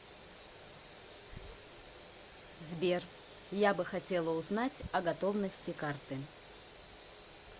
сбер я бы хотела узнать о готовности карты